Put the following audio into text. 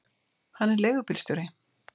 Hann er leigubílstjóri.